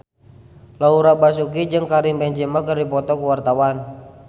Laura Basuki jeung Karim Benzema keur dipoto ku wartawan